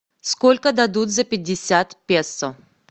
сколько дадут за пятьдесят песо